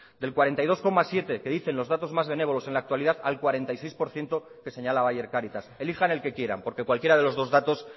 del cuarenta y dos coma siete por ciento que dicen los datos más benévolos en la actualidad al cuarenta y seis por ciento que señalaba ayer cáritas elijan el que quieran porque cualquiera de los dos datos